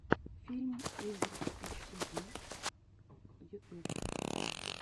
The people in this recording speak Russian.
фильм игр эчтуди ютуб